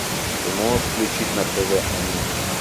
ты можешь включить на тв они